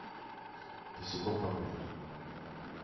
босиком по городу